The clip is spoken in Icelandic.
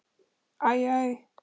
Æ, æ!